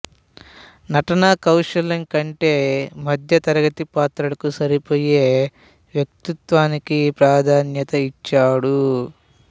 నటనా కౌశలం కంటే మధ్య తరగతి పాత్రలకు సరిపోయే వ్యక్తిత్వానికి ప్రాధాన్యత ఇచ్చాడు